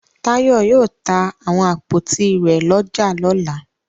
Táyọ̀ yóò ta àwọn àpótí rẹ̀ lọ́jà lọ́la.